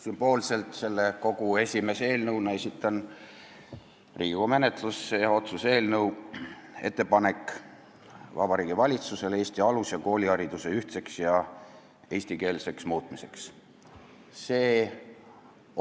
Sümboolselt esitan selle kogu esimese eelnõuna menetlusse otsuse "Ettepanek Vabariigi Valitsusele Eesti alus- ja koolihariduse ühtseks ja eestikeelseks muutmiseks" eelnõu.